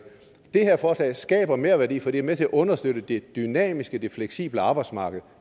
det her forslag skaber merværdi for det er med til at understøtte det dynamiske det fleksible arbejdsmarked